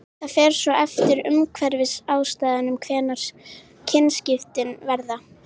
það fer svo eftir umhverfisaðstæðum hvenær kynskiptin verða